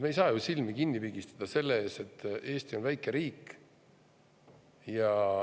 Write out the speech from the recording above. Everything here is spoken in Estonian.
Me ei saa ju silmi kinni pigistada selle ees, et Eesti on väike riik.